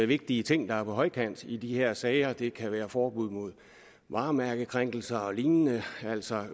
vigtige ting der er på højkant i de her sager det kan være forbud mod varemærkekrænkelser og lignende altså